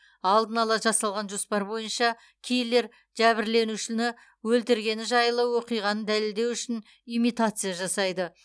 алдын ала жасалған жоспар бойынша киллер жәбірленушіні өлтіргені жайлы оқиғаны дәлелдеу үшін имитация жасайды